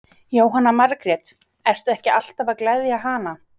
Jóhanna Margrét: Ertu ekki alltaf að gleðja hana?